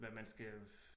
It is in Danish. Hvad man skal